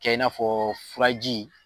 Kɛ i n'afɔ furaji